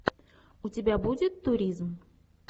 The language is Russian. у тебя будет туризм